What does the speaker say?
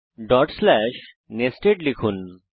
dot slash nested লিখুন